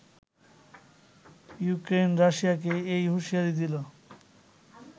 Ukraine রাশিয়াকে এ হুঁশিয়ারি দিল